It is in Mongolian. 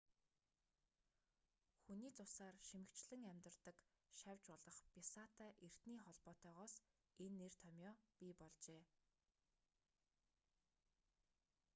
хүний цусаар шимэгчлэн амьдардаг шавж болох бясаатай эртний холбоотойгоос энэ нэр томъёо бий болжээ